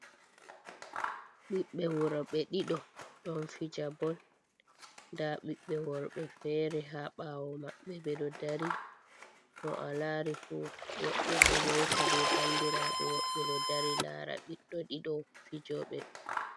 Ɓiɓɓe wuro ɓe ɗiɗo, ɗon fija bol nda ɓiɓɓe worɓe fere ha ɓawo maɓɓe be do dari, mo a lari fu woɓɓe ɗo yewta be bandiraɓe, woɓɓe ɗo dari lara ɓiɗɗo ɗido fijoɓe.